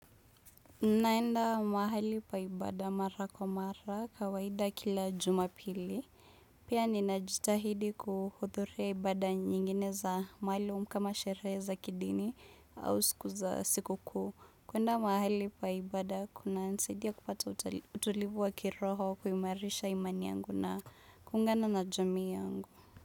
Naenda mahali pa ibada mara kwa mara kawaida kila jumapili. Pia ninajitahidi kuhuthuria ibada nyingine za mahali umkama sherehe za kidini au siku za sikukuu. Kuenda mahali pa ibada kuna nisaidia kupata utulivu wa kiroho kuimarisha imani yangu na kuungana na jamii yangu.